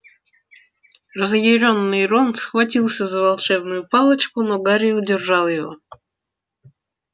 разъярённый рон схватился за волшебную палочку но гарри удержал его